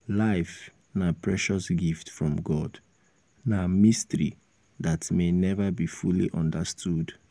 life na precious gift from god na mystery dat may never be fully understood.